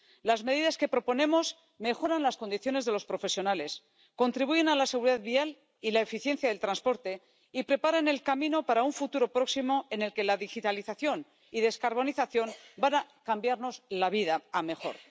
Las medidas que proponemos mejoran las condiciones de los profesionales, contribuyen a la seguridad vial y la eficiencia del transporte y preparan el camino para un futuro próximo en el que la digitalización y descarbonización van a cambiarnos la vida para mejor.